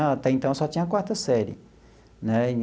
Até então, eu só tinha a quarta série né.